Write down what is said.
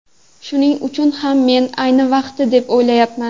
Shuning uchun ham men ayni vaqti deb o‘ylayapman.